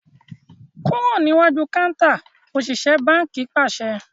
Kúrò níwájú kántà! Òṣìṣẹ́ báńkì pàṣẹ.